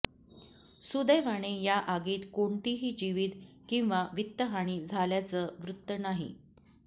सुदैवाने या आगीत कोणतीही जीवित किंवा वित्तहानी झाल्याचं वृत्त नाही